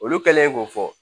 Olu kɛlen k'o fɔ